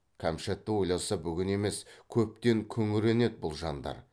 кәмшатты ойласа бүгін емес көптен күңіренеді бұл жандар